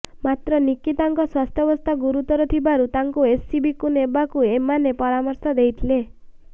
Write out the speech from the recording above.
ମାତ୍ର ନିକିତାଙ୍କ ସ୍ୱାସ୍ଥ୍ୟାବସ୍ଥା ଗୁରୁତର ଥିବାରୁ ତାଙ୍କୁ ଏସସିବିକୁ ନେବାକୁ ସେମାନେ ପରାମର୍ଶ ଦେଇଥିଲେ